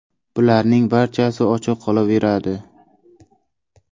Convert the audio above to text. Bularning barchasi ochiq qolaveradi.